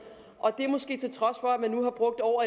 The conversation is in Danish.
og det måske til trods for at man nu har brugt over